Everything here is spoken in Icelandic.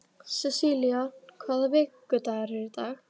Sessilía, hvaða vikudagur er í dag?